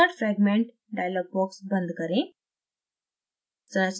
insert fragment dialog box बंद करें